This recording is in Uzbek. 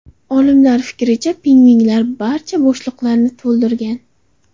Olimlar fikricha, pingvinlar barcha bo‘shliqlarni to‘ldirgan.